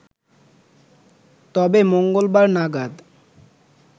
তবে মঙ্গলবার নাগাদ